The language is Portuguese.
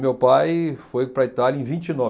Meu pai foi para a Itália em vinte e nove